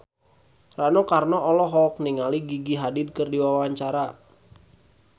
Rano Karno olohok ningali Gigi Hadid keur diwawancara